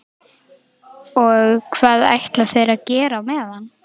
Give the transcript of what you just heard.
Og hvað ætla þeir að gera á meðan?